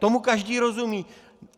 Tomu každý rozumí.